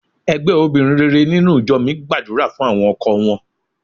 Ẹgbẹ́ obìnrin rere nínú ìjọ mi gbàdúrà fún àwọn ọkọ wọn.